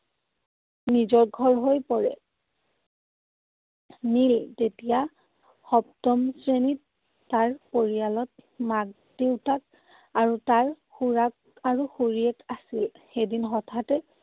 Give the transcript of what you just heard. নিজৰ ঘৰ হৈ পৰে। নীল তেতিয়া সপ্তম শ্ৰেণীত। তাৰ পৰিয়ালত মাক দেউতাক আৰু তাৰ খুৰাক আৰু খুৰীয়েক আছিল। এদিন হঠাতে